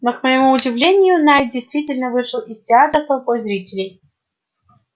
но к моему удивлению найд действительно вышел из театра с толпой зрителей